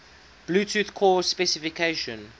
bluetooth core specification